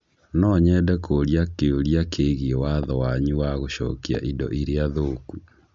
No nyende kũũria kĩũria kĩgiĩ watho wanyu wa gũcokia indo iria thũku